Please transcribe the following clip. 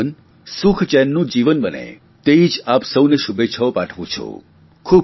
આપનું જીવન સુખચેનનું જીવન બને તે જ આપ સૌને શુભેચ્છાઓ પાઠવું છું